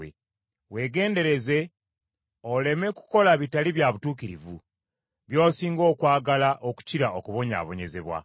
Weegendereze oleme kukola bitali bya butuukirivu, by’osinga okwagala okukira okubonyaabonyezebwa.